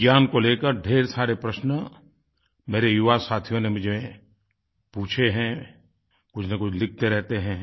विज्ञान को लेकर ढ़ेर सारे प्रश्न मेरे युवा साथियों ने मुझसे पूछे हैं कुछनकुछ लिखते रहते हैं